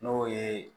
N'o ye